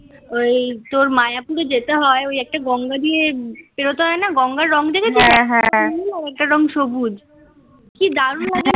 ওই তোর মায়াপুরে যেতে হয় ওই একটা গঙ্গা পেরোতে হয় না. গঙ্গার রং দেখেছো হ্যাঁ হ্যাঁ. এটা রং সবুজ. কি দারুণ লাগে